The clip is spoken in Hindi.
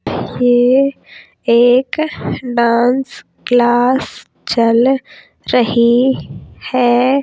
ये एक डांस क्लास चल रही है।